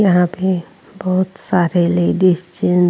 यहां पर बोहोत सारे लेडिस जिन --